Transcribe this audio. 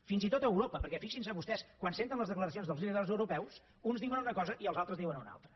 fins i tot a europa perquè fixin se vostès quan senten les declaracions dels líders europeus que uns diuen una cosa i els altres en diuen una altra